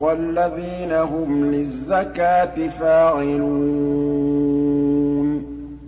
وَالَّذِينَ هُمْ لِلزَّكَاةِ فَاعِلُونَ